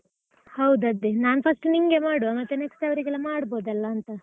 ಹೌದು ಅದೇ, ನಾನ್ first ನಿಂಗೆ ಮಾಡುವ ಮತ್ತೆ next ಅವರಿಗೆಲ್ಲ ಮಾಡ್ಬಹುದಲ್ಲಾಂತ.